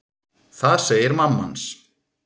Það segir mamma hans.